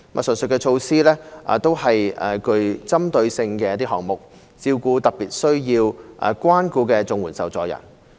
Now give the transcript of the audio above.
上述措施都是具針對性的項目，照顧特別需要關顧的綜援受助人。